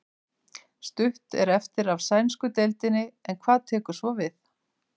Stutt er eftir af sænsku deildinni en hvað tekur svo við?